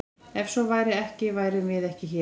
Ef svo væri ekki værum við ekki hér!